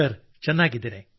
sir ಚೆನ್ನಾಗಿದ್ದೇನೆ